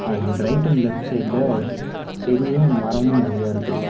And right and left சைடுல செடியு மரமு நறைய இருக்கு.